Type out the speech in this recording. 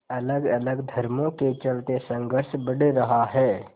अलगअलग धर्मों के चलते संघर्ष बढ़ रहा है